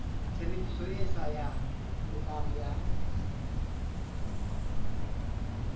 tshebediso e sa lokang ya